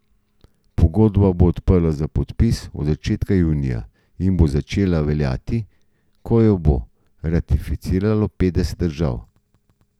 Pogodba bo odprta za podpis od začetka junija in bo začela veljati, ko jo bo ratificiralo petdeset držav.